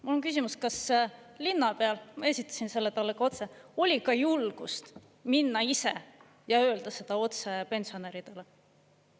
" Mul on küsimus, kas linnapeal – esitasin selle talle ka otse – oli ka julgust minna ise ja öelda seda otse pensionäridele.